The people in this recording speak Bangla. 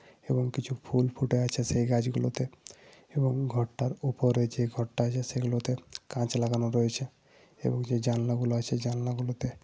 এবং কিছু ফুল ফুটে আছে সেই গাছগুলোতে। এবং ঘরটার উপরে যে ঘরটা আছে সেগুলোতে কাঁচ লাগানো রয়েছে। এবং যে জানলাগুলো আছে জানলাগুলোতে --